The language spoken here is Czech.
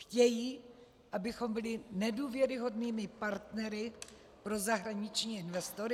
Chtějí, abychom byli nedůvěryhodnými partnery pro zahraniční investory?